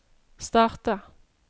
starta